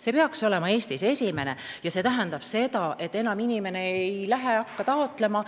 See peaks olema Eestis esimene ja see tähendab seda, et enam inimene ei hakka taotlema